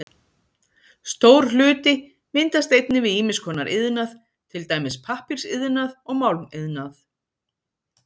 Stór hluti myndast einnig við ýmiss konar iðnað, til dæmis pappírsiðnað og málmiðnað.